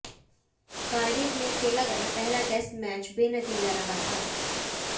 Cardiff में खेला गया पहला टेस्ट मैच बेनतीजा रहा था